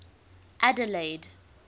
adelaide